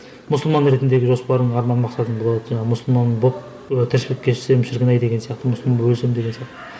мұсылман ретіндегі жоспарым арман мақсатымды мұсылман болып тіршілік кешсем шіркін ай деген сияқты мұсылман болып өлсем деген сияқты